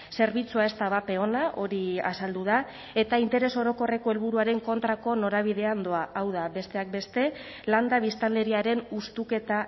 zerbitzua ez da bape ona hori azaldu da eta interes orokorreko helburuaren kontrako norabidean doa hau da besteak beste landa biztanleriaren hustuketa